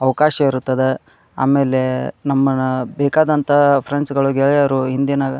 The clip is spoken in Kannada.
ಅವಕಾಶ ಇರುತ್ತದೆ ಆಮೇಲೆ ನಮ್ಮನ ಬೇಕಾದಂತ ಫ್ರೆಂಡ್ಸ್ ಗಳು ಗೆಳೆಯರು ಇಂದಿನ --